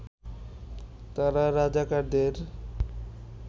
তারা রাজাকারদের